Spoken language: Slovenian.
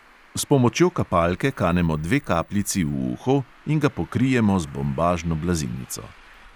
S pomočjo kapalke kanemo dve kapljici v uho in ga pokrijemo z bombažno blazinico.